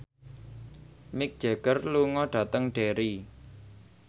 Mick Jagger lunga dhateng Derry